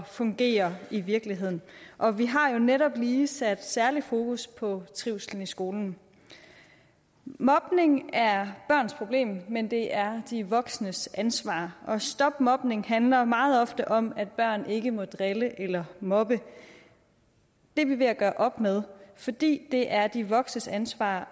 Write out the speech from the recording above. fungere i virkeligheden og vi har jo netop lige sat særlig fokus på trivslen i skolen mobning er børns problem men det er de voksnes ansvar og stop mobning kampagner handler meget ofte om at børn ikke må drille eller mobbe det er vi ved at gøre op med fordi det er de voksnes ansvar